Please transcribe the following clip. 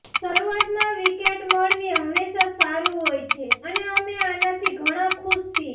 શરૂઆતમાં વિકેટ મળવી હંમેશા સારું હોય છે અને અમે આનાથી ઘણા ખુશ છીએ